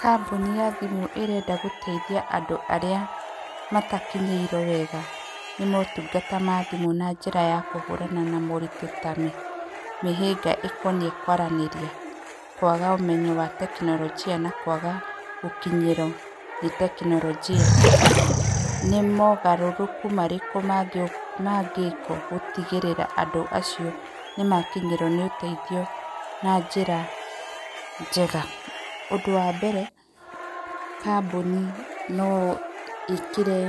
Kambuni ya thimũ ĩrenda gũteithia andũ arĩa matakinyĩirwo wega nĩ motungata ma thimũ na njĩra ya kũhũrana na moritũ ta mĩhinga ĩkoniĩ kwaranĩria, kwaga ũmenyo wa tekinoronjĩ, na kwaga gũkinyĩrwo nĩ tekinoronjia. Nĩ mogarũrũku marĩkũ mangĩkwo gũtigĩrĩra andũ acio nĩmakinyĩrwo nĩ ũteithio na njĩra njega? Ũndũ wa mbere kambuni no ĩkĩre